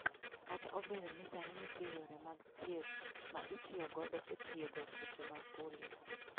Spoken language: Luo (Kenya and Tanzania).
Kata obedo ni sani nitie yore mag thieth ma itiyo godo e thiedho tuoche mag polio .